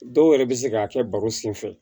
Dɔw yɛrɛ bɛ se k'a kɛ baro senfɛ